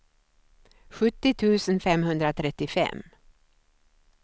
sjuttio tusen femhundratrettiofem